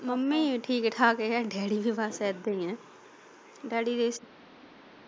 Mummy ਠੀਕ ਠਾਕ daddy ਬਸ ਏਦਾ ਹੀ ਆ।